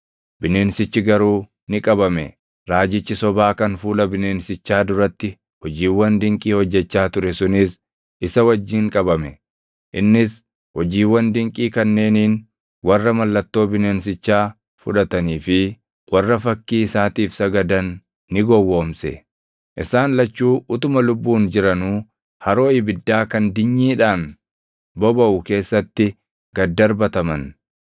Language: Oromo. Bineensichi garuu ni qabame; raajichi sobaa kan fuula bineensichaa duratti hojiiwwan dinqii hojjechaa ture sunis isa wajjin qabame. Innis hojiiwwan dinqii kanneeniin warra mallattoo bineensichaa fudhatanii fi warra fakkii isaatiif sagadan ni gowwoomse. Isaan lachuu utuma lubbuun jiranuu haroo ibiddaa kan dinyiidhaan bobaʼu keessatti gad darbataman.